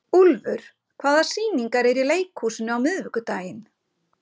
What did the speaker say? Úlfur, hvaða sýningar eru í leikhúsinu á miðvikudaginn?